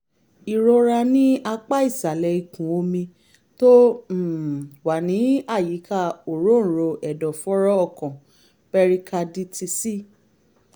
ìrora ní apá ìsàlẹ̀ ikùn omi tó um wà ní àyíká òróǹro ẹ̀dọ̀fóró ọkàn pẹrikadítíìsì